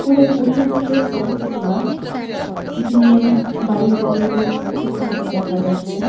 অনেক উঁচু থেকে ফটো -টি তোলা এইখানে-এ বাড়ি ঘর গুলো ছোট ছোট দেখা যাচ্ছে।